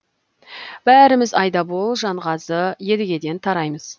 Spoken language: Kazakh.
бәріміз айдабол жанғазы едігеден тараймыз